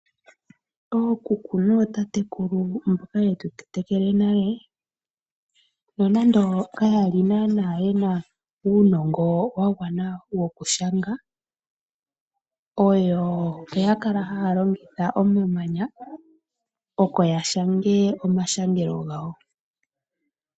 Ookuku nootatatekulu mboka yetu tetekele nale, nonando kayali nana yena uunongo wagwana wokushanga, oyo oya kala haya longitha omamanya oko yashange omashangelo gawo.